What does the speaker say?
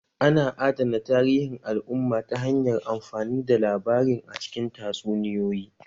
Ana adana tarihin al'umma ta hanyar amfani da labarin a cikin tatsuniyoyi